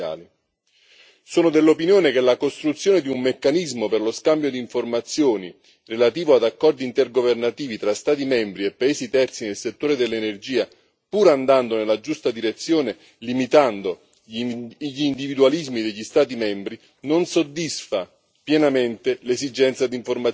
Sono dell'opinione che la costruzione di un meccanismo per lo scambio di informazioni, relativo ad accordi intergovernativi tra Stati membri e paesi terzi nel settore dell'energia, pur andando nella giusta direzione, limitando gli individualismi degli Stati membri, non soddisfa pienamente l'esigenza di informazione preventiva.